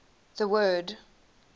the word